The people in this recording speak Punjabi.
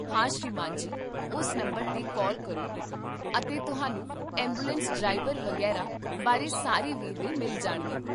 ਹਾਂ, ਸ੍ਰੀਮਾਨ ਜੀ, ਉਸ ਨੰਬਰ 'ਤੇ ਕਾਲ ਕਰੋ ਅਤੇ ਤੁਹਾਨੂੰ ਐਂਬੂਲੈਂਸ ਡਰਾਈਵਰ ਵਗ਼ੈਰਾ ਬਾਰੇ ਸਾਰੇ ਵੇਰਵੇ ਮਿਲ ਜਾਣਗੇ